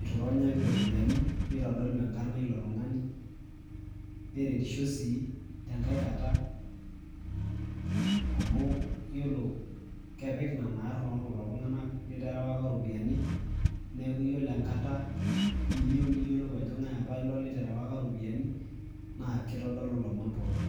itu ironyaki iropiyiani ,nitodolu enkarna ilo tungani , neretisho sii tenkae kata amu iyiolo kepik nena arn oltunganak literewaka iropiyiani , niaku yiolo enkata niyieu niyiolou ajo ngae apa ilo lterewaka iropiyiani naa kitodolu ilomon pookin.